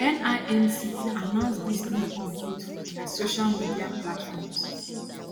nimc announce dis new update for dia social media platforms